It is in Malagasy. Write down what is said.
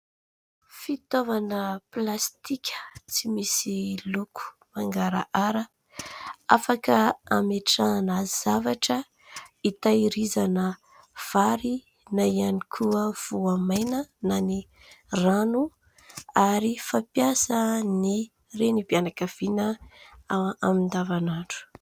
Fitaovana plastika tsy misy loko mangarahara, afaka ametrahana zavatra, itahirizana vary na ihany koa voamaina na rano ary fampiasan'ny renim-pianakaviana amin'ny andavanandro.